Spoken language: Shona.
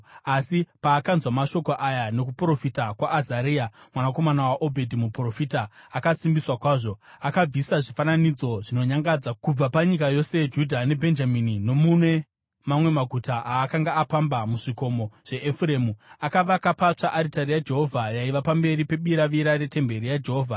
Asa paakanzwa mashoko aya nokuprofita kwaAzaria mwanakomana waOdhedhi muprofita akasimbiswa kwazvo. Akabvisa zvifananidzo zvinonyangadza kubva panyika yose yeJudha neBhenjamini nomune mamwe maguta aakanga apamba muzvikomo zveEfuremu. Akavaka patsva aritari yaJehovha yaiva pamberi pebiravira retemberi yaJehovha.